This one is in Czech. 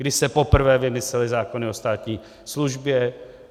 Kdy se poprvé vymyslely zákony o státní službě.